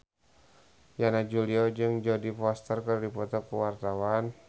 Yana Julio jeung Jodie Foster keur dipoto ku wartawan